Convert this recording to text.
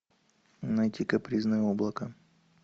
найти капризное облако